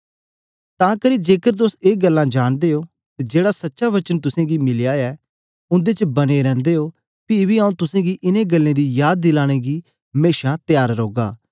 तां करी जेकर तुस ए गल्ला जांदे हो अते जेहड़ा सच्चा वचन तुस गी मिलेया ऐ उन्दे च बने रैंदे हो पी बी आऊँ तुस गी इन गल्ले दी सुधि दिलाने गी सदा तयार रौगा